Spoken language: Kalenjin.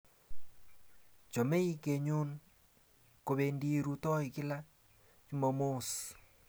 Chamei konyun kopendi rutoi kila Chumamos